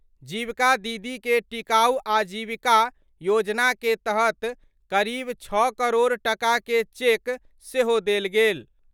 जीविका दीदी के टिकाऊ आजीविका योजना के तहत करीब 6 करोड़ टका के चेक सेहो देल गेल।